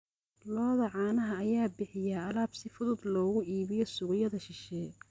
Lo'da caanaha ayaa bixiya alaab si fudud loogu iibiyo suuqyada shisheeye.